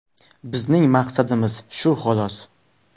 Bizning maqsadimiz shu xolos.